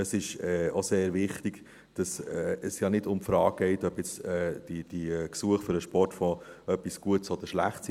Es ist auch sehr wichtig, dass es ja nicht um die Frage geht, ob jetzt diese Gesuche für den Sportfonds etwas Gutes oder etwas Schlechtes sind.